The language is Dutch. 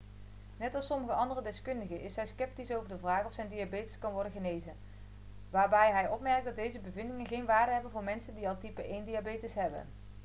net als sommige andere deskundigen is hij sceptisch over de vraag of zijn diabetes kan worden genezen waarbij hij opmerkt dat deze bevindingen geen waarde hebben voor mensen die al type 1-diabetes hebben